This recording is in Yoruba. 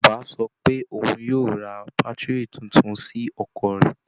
Bàbá sọ pé òun yóò ra bátìrì tuntun sí ọkọ̀ rẹ̀